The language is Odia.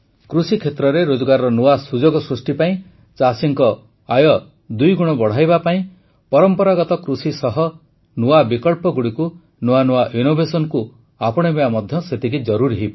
କୃଷିକ୍ଷେତ୍ରରେ ରୋଜଗାରର ନୂଆ ସୁଯୋଗ ସୃଷ୍ଟି ପାଇଁ ଚାଷୀଙ୍କ ଆୟ ଦୁଇଗୁଣ ବଢ଼ାଇବା ପାଇଁ ପରମ୍ପରାଗତ କୃଷି ସହ ନୂଆ ବିକଳ୍ପଗୁଡ଼ିକୁ ନୂଆନୂଆ innovationsକୁ ଆପଣାଇବା ମଧ୍ୟ ସେତିକି ଜରୁରୀ